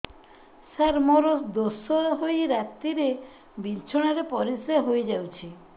ସାର ମୋର ଦୋଷ ହୋଇ ରାତିରେ ବିଛଣାରେ ପରିସ୍ରା ହୋଇ ଯାଉଛି